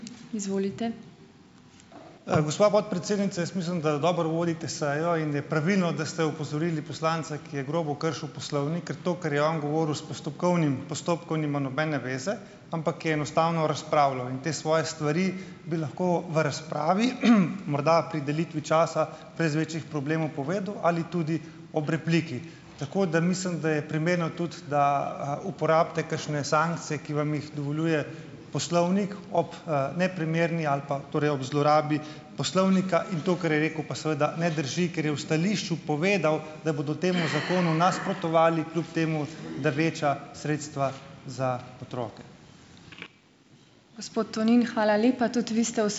Gospa podpredsednica, jaz mislim, da dobro vodite sejo in je pravilno, da ste opozorili poslanca, ki je grobo kršil poslovnik. Ker to, kar je on govoril, s postopkovnim postopkom nima nobene zveze, ampak je enostavno razpravljal. In te svoje stvari bi lahko v razpravi, morda pri delitvi časa brez večjih problemov povedal ali tudi ob repliki. Tako da mislim, da je primerno tudi, da, uporabite kakšne sankcije, ki vam jih dovoljuje poslovnik ob, neprimerni ali pa torej ob zlorabi poslovnika. In to, kar je rekel, pa seveda ne drži, ker je v stališču povedal, da bodo temu zakonu nasprotovali, kljub temu, da veča sredstva za otroke.